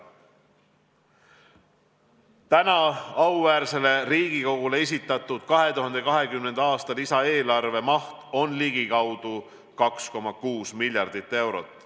Täna auväärsele Riigikogule esitatud 2020. aasta lisaeelarve maht on ligikaudu 2,6 miljardit eurot.